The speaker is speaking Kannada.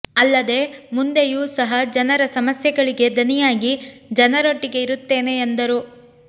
ಅಲ್ಲದೇ ಮುಂದೆಯೂ ಸಹ ಜನರ ಸಮಸ್ಯೆಗಳಿಗೆ ದನಿಯಾಗಿ ಜನರೊಟ್ಟಿಗೆ ಇರುತ್ತೇನೆ ಎಂದರು